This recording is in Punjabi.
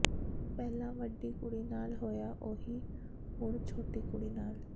ਪਹਿਲਾਂ ਵੱਡੀ ਕੁੜੀ ਨਾਲ ਹੋਇਆ ਓਹੀ ਹੁਣ ਛੋਟੀ ਕੁੜੀ ਨਾਲ